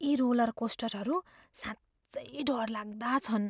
यी रोलरकोस्टरहरू साँच्चै डरलाग्दा छन्।